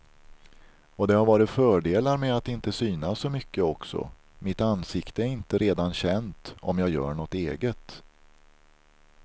Och det har varit fördelar med att inte synas så mycket också, mitt ansikte är inte redan känt om jag gör något eget.